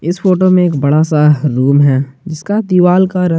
इस फोटो में एक बड़ा सा रूम है जिसका दीवाल का रंग--